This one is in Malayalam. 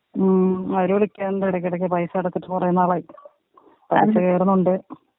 ഉം അവര് വിളിക്കാറ്ണ്ട് എടക്കിടക്ക് പൈസ അടച്ചിട്ട് കൊറേ നാളായി. പലിശ കയറുന്നുണ്ട്.